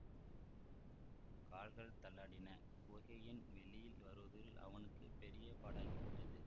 கால்கள் தள்ளாடின குகையின் வெளியில் வருவதற்குள் அவனுக்கு பெரிய பாடாகிவிட்டது